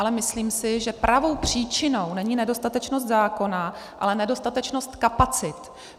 Ale myslím si, že pravou příčinou není nedostatečnost zákona, ale nedostatečnost kapacit.